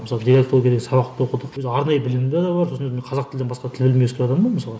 мысалы деалектология деген сабақты оқыдық өзім арнай білімімде де бар сосын қазақ тілінен басқа тіл білмей өскен адаммын ғой мен мысалға